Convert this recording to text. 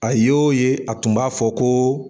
A ye a tun b'a fɔ ko